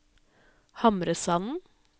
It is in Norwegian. Hamresanden